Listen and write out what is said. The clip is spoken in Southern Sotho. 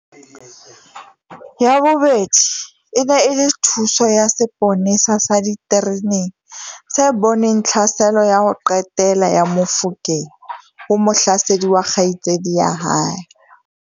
Ya bobedi e ne e le thuso ya seponesa sa ditereneng se boneng tlhaselo ya ho qetela ya Mofokeng ho mohlasedi wa kgaitsedi ya hae.